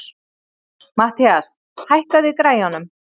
Matthías, hækkaðu í græjunum.